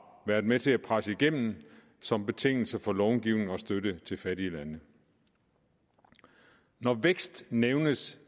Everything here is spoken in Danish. været med til at presse igennem som betingelse for långivning og støtte til fattige lande når vækst nævnes